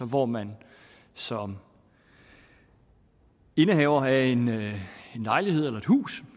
hvor man som indehaver af en lejlighed eller et hus